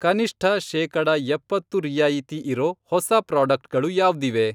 ಕನಿಷ್ಠ ಶೇಕಡ ಎಪ್ಪತ್ತು ರಿಯಾಯಿತಿ ಇರೋ ಹೊಸಾ ಪ್ರಾಡಕ್ಟ್ಗಳು ಯಾವ್ದಿವೆ?